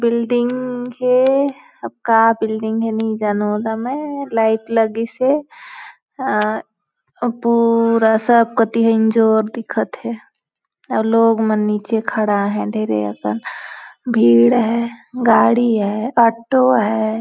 Building हे अब का बिल्डिंग नहीं जानो हो ना मैं लाइट लगी से आ पूरा सा लोग मन नीचे खड़ा है ढ़ेरें अकन भीड़ है गाड़ी है ऑटो हैं ।